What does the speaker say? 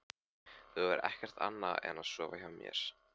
Þú hefur ekki gert annað en að sofa hjá mér.